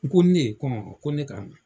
N ko ne ? Ko awɔ ko ne ka na.